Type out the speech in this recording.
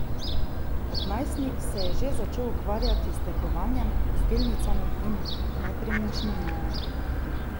Kot najstnik se je že začel ukvarjati s trgovanjem z delnicami in nepremičninami.